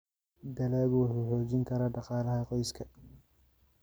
Dalaggu wuxuu xoojin karaa dhaqaalaha qoyska.